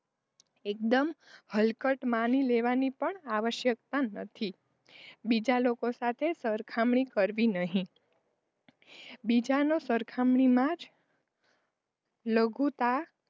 એકદમ હલકટ માની લેવાની પણ આવશ્યકતા નથી, બીજા લોકો સાથે સરખામણી કરવી નહીં બીજાની સરખામણીમાં જ લઘુતાં,